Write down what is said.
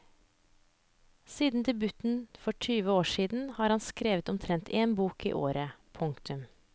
Siden debuten for tyve år siden har han skrevet omtrent én bok i året. punktum